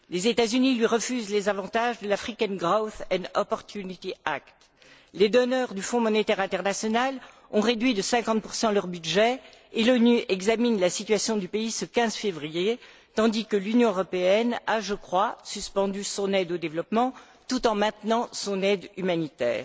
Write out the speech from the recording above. Les États Unis lui refusent les avantages de l' Africain Growth and Opportunity Act Les donneurs du Fonds monétaire international ont réduit de 50 leur budget et l'ONU examinera la situation du pays ce 15 février, tandis que l'Union européenne a, je crois, suspendu son aide au développement tout en maintenant son aide humanitaire.